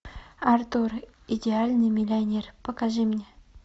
артур идеальный миллионер покажи мне